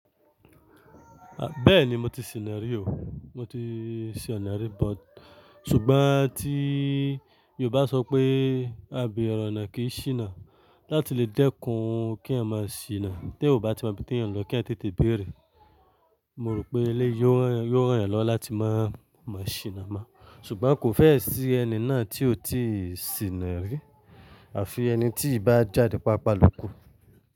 Bẹ́ẹ̀ni mo ti sìnà rí o, mo ti sìnà rí, but ṣùgbọ́n tí Yorùbá sọ pé "Abire ọ̀nà kìí sìnà" láti lè dẹ́kun kí ẹyan máa sìnà, tí ẹyan ò bá tí máa mọ ibí tí ẹyań lọ kí ẹyan tètè béèrè, mo rò pé eléyi yóò rán eyẹn lọ láti máa máa sìnà mọ́. Ṣùgbọ́n kò fẹ́ ẹ̀ sín ẹni náà tí o ti sìnà rí, àfi ẹni tí ki bá jáde pàápàá lóko.